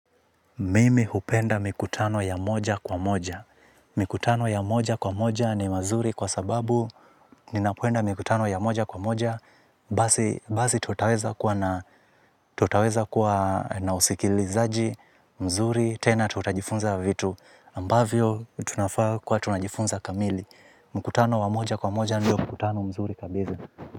Mimi hupenda mikutano ya moja kwa moja. Mikutano ya moja kwa moja ni mazuri kwa sababu ninapoenda mikutano ya moja kwa moja basi tutaweza kuwa na usikilizaji mzuri tena tutajifunza vitu ambavyo tunafaa kwa tunajifunza kamili. Mkutano wa moja kwa moja ndio mkutano mzuri kabisa.